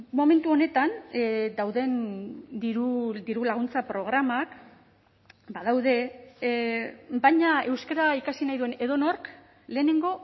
momentu honetan dauden diru laguntza programak badaude baina euskara ikasi nahi duen edonork lehenengo